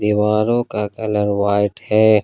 दीवारों का colour white है।